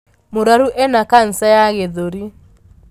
Mũrwaru ena kanca ya gĩthũri.